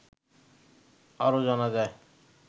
আরো জানা যায়